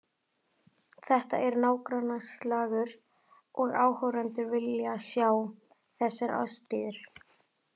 Þetta er nágrannaslagur og áhorfendur vilja sjá þessa ástríðu.